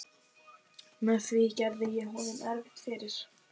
Með því gerði ég honum erfitt fyrir.